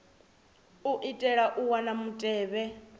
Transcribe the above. u itela u wana mutevhe